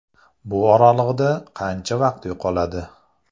Bu oraliqda qancha vaqt yo‘qoladi.